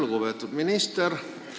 Lugupeetud minister!